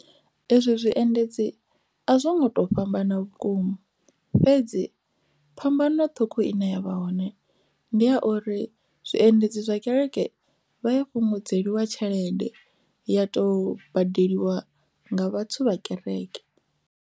Ezwo zwiendedzi a zwo ngo to fhambana vhukuma fhedzi phambano ṱhukhu ine yavha hone ndi ya uri zwiendedzi zwa kereke vha ya fhungudzeliwa tshelede ya to badeliwa nga vhathu vha kereke.